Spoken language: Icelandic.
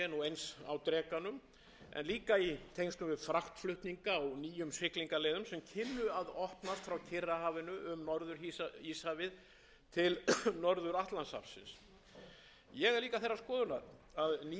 eins á drekanum en líka í tengslum við fraktflutninga á nýjum siglingaleiðum sem kynnu að opnast frá kyrrahafinu um norður íshafið til norður atlantshafsins ég er líka þeirrar skoðunar að ný tækifæri gætu legið í mannvirkjagerð vegna þess að íslensk fyrirtæki